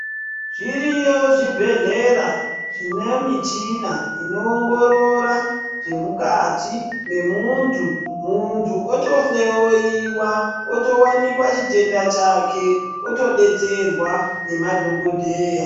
Zviriyo zvibhedlera zvine michina inowongorora zvemukati zvemuntu, muntu otohloyiwa otowanikwa chitenda chake otodetserwa nemadhogodheya.